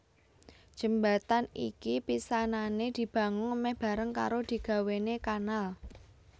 Jembatan iki pisanané dibangun mèh bareng karo digawéné kanal